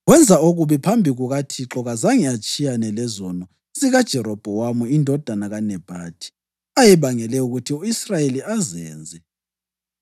Wenza okubi phambi kukaThixo. Kazange atshiyane lezono zikaJerobhowamu indodana kaNebhathi, ayebangele ukuthi u-Israyeli azenze.